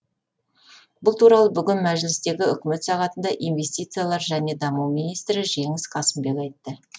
бұл туралы бүгін мәжілістегі үкімет сағатында инвестициялар және даму министрі жеңіс қасымбек айтты